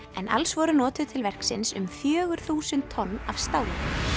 en alls voru notuð til verksins um fjögur þúsund tonn af stáli